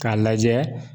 K'a lajɛ